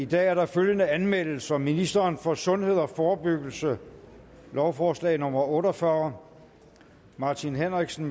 i dag er der følgende anmeldelser ministeren for sundhed og forebyggelse lovforslag nummer l otte og fyrre martin henriksen